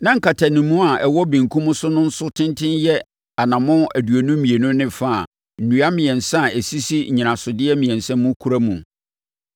Na nkatanimu a ɛwɔ benkum so no nso tenten yɛ anammɔn aduonu mmienu ne fa a nnua mmiɛnsa a ɛsisi nnyinasodeɛ mmiɛnsa mu kura mu.